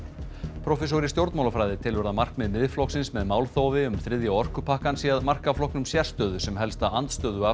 prófessor í stjórnmálafræði telur að markmið Miðflokksins með málþófi um þriðja orkupakkann sé að marka flokknum sérstöðu sem helsta